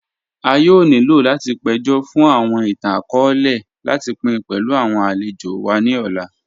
À yóò nílò láti péjọ́ fun awọn ìtàn-akọọ̀lẹ̀ láti pín pẹ̀lú awọn alẹ̀jò wa ni òlà.